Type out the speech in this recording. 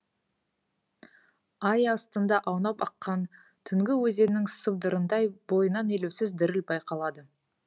ай астында аунап аққан түнгі өзеннің сыбдырындай бойынан елеусіз діріл байқалады